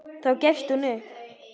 Þá gefst hún upp.